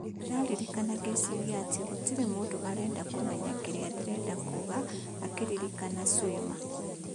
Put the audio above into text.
Ndĩraririkana ngĩciria atĩ gũtirĩ mũndu arenda kũmenya kĩrĩa ndĩrenda kuga, akĩririkana Swima.